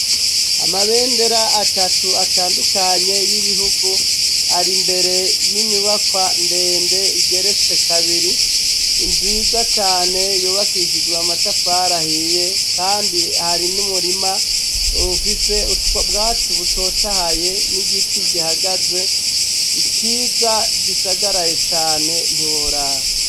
Amabendera atatu atandukanye y'ibihugu, ari mbere y'inyubakwa ndende igeretse kabiri nziza cane yubakishijwe amatafari ahiye kandi hari n'umurima ufise ubwatsi butotahaye n'igiti gihagaze ciza gisagaraye cane ntiworaba.